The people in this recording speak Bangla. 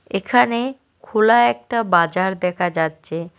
এখানে খোলা একটা বাজার দেখা যাচ্ছে।